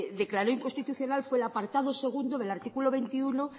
declaró inconstitucional fue el apartado segundo del artículo veintiuno